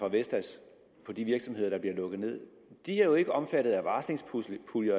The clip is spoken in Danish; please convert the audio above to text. af vestas virksomheder der bliver lukket ned er jo ikke omfattet af varslingspuljer